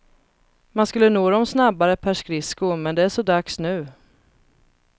Man skulle nå dem snabbare per skridsko, men det är så dags nu.